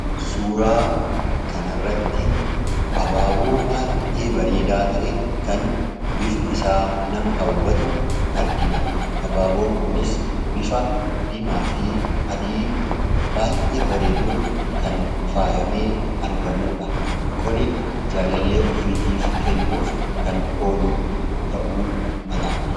Suuraa kana irratti Abaaboo baay'ee bareedaa ta'e kan bifti isaa nama hawwatu argina. Abaaboon kunis bifa dimaafi adii baay'ee bareeduun kan faayamee argamudha. Kuni jaalallee ofiitiif kennuuf kan oolu ta'uu mala.